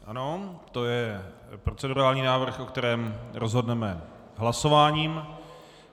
Ano, to je procedurální návrh, o kterém rozhodneme hlasováním.